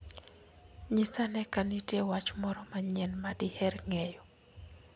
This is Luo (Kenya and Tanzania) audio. Nyisa ane ka nitie wach moro manyien ma diher ng'eyo.